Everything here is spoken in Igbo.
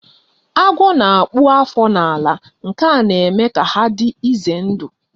Agwo na-akpụ afọ na-ala nke na-eme ka ha dị ize ndụ